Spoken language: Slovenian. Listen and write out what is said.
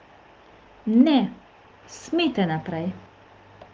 Ne, smete naprej!